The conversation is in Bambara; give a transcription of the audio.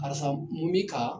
Karisa mun bi kan ?